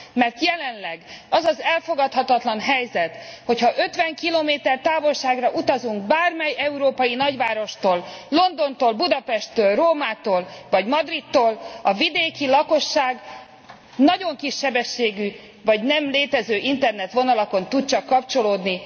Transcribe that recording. Mert jelenleg az az elfogadhatatlan helyzet, hogy ha 50 km távolságra utazunk bármely európai nagyvárostól Londontól, Budapesttől, Rómától vagy Madridtól a vidéki lakosság nagyon kissebességű, vagy nem létező internetvonalakon tud csak kapcsolódni.